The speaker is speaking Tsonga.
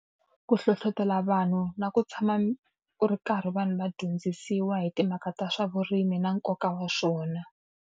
Ku hlohletela vanhu na ku tshama ku ri karhi vanhu va dyondzisiwa hi timhaka ta swa vurimi na nkoka wa swona.